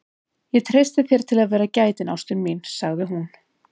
Ég treysti þér til að vera gætin, ástin mín, sagði hún.